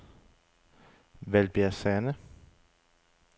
Valbjerg Sande